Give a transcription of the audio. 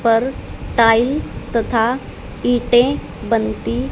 पर टाइल तथा इंटें बनती--